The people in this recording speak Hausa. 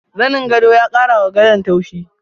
Zanin gwado ya kara wa gadon tauchi.